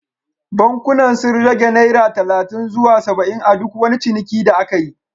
Bankunan sun rage naira talatin zuwa saba’in a duk wani ciniki da aka yi